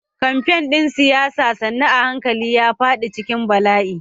Kamfen ɗin siyasa sannu a hankali ya faɗi cikin bala'i.